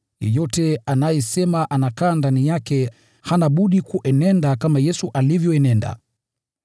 Yeyote anayesema anakaa ndani yake hana budi kuenenda kama Yesu alivyoenenda.